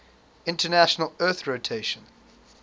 international earth rotation